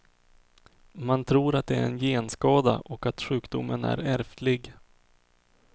Man tror att det är en genskada och att sjukdomen är ärftlig.